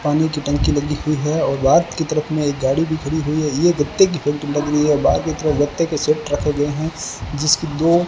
पानी की टंकी लगी हुई है और बाहर की तरफ में गाड़ी भी खड़ी हुई है ये गत्ते की फैक्ट्री लग रही है बाहर की तरफ गत्ते के सेट रखे गए हैं जिसके दो --